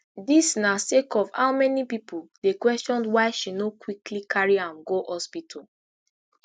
dis na sake of how many pipo dey question why she no quickly carry am go hospital